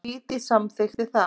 Dídí samþykkti það.